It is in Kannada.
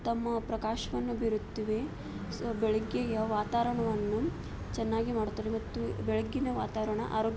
ತಮ್ಮ ಪ್ರಕಾಶವನ್ನು ಬೀರುತ್ತದೆ ಸೋ ಬೆಳಗ್ಗೆ ವಾತಾವರಣವನ್ನು ಚೆನ್ನಾಗಿ ಮಾಡುತ್ತದೆ ಮತ್ತು ಬೆಳ್ಳಗಿನ ವವಾತಾವರಣ ವನ್ನು ಆರೋಗ್ಯ --